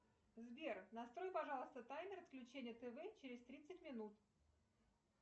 сбер настрой пожалуйста таймер отключения тв через тридцать минут